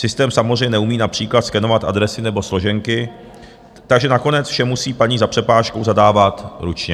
Systém samozřejmě neumí například skenovat adresy nebo složenky, takže nakonec vše musí paní za přepážkou zadávat ručně.